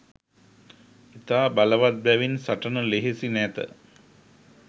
ඉතා බලවත් බැවින් සටන ලෙහෙසි නැත.